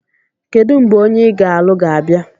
Kedu mgbe onye ị ga-alụ ga-abịa?